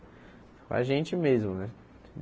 Com a gente mesmo, velho?